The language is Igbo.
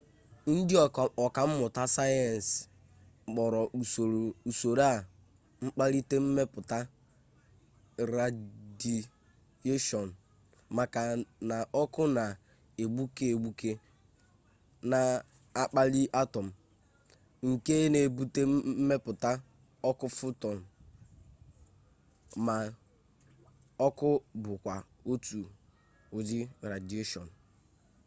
ndị ọkammụta sayensị kpọrọ usoro a mkpalite mmepụta radiyeshọnụ maka na ọkụ na-egbuke egbuke na-akpali atọm nke na-ebute mmepụta ọkụ fotọn ma ọkụ bụkwa otu ụdị radiyeshọnụ